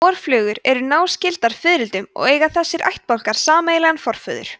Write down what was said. vorflugur eru náskyldar fiðrildum og eiga þessir ættbálkar sameiginlegan forföður